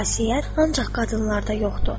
Bu xasiyyət ancaq qadınlarda yoxdur.